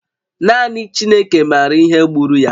Naanị Chineke maara ihe gburu ya